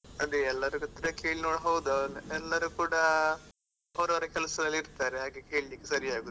ಅದೇ ಎಲ್ಲರತ್ರ ಕೇಳಿ ನೋಡುದು ಹೌದು ಎಲ್ಲರು ಕೂಡ, ಅವ್ರವ್ರ ಕೆಲ್ಸದಲ್ಲಿ ಇರ್ತರೆ ಹಾಗೆ ಕೇಳಲಿಕ್ಕೆ ಸರಿ ಆಗುದಿಲ್ಲ.